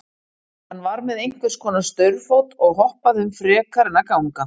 Hann var með einhvers konar staurfót og hoppaði um frekar en að ganga.